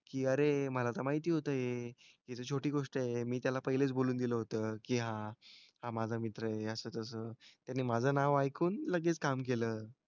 की अरे मला तर माहिती होतं हे. हि तर छोटी गोष्ट आहे. मी त्याला पहिलेच बोलून गेलं होतं की हां हा माझा मित्र आहे असं तसं. त्याने माझं नाव ऐकून लगेच काम केलं.